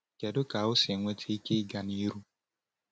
Kedu ka ọ si enweta ike ịga n’ihu?